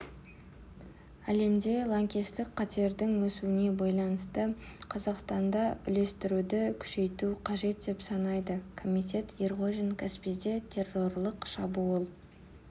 әлемде лаңкестік қатердің өсуіне байланысты қазақстанда үйлестіруді күшейту қажет деп санайды комитет ерғожин каспийде террорлық шабуыл